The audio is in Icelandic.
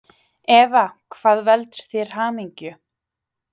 Eva: Hvað veldur þér hamingju?